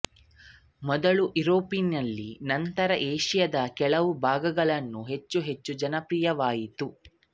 ಮೊದಲು ಯುರೋಪ್ನಲ್ಲಿ ನಂತರ ಏಷ್ಯಾದ ಕೆಲವು ಭಾಗಗಳನ್ನು ಹೆಚ್ಚೆಚ್ಚು ಜನಪ್ರಿಯವಾಯಿತು